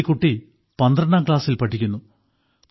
ഈ കുട്ടി 12ാം ക്ലാസ്സിൽ പഠിക്കുന്നു